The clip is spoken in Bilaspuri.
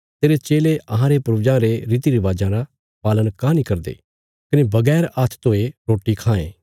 तेरे चेले अहांरे पूर्वजां रे रीतिरिवाजां रा पालन काँह नीं करदे कने बगैर हात्थ धोये रोटी खांये